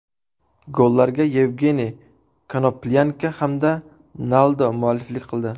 Gollarga Yevgeniy Konoplyanka hamda Naldo mualliflik qildi.